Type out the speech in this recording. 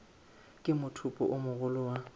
ke mothopo o mogolo wa